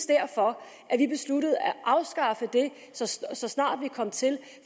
derfor at vi besluttede at afskaffe det så snart vi kom til